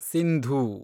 Sindhu